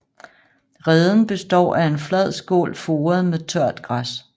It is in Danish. Reden består af en flad skål foret med tørt græs